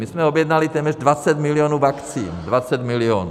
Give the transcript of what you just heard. My jsme objednali téměř 20 milionů vakcín, 20 milionů.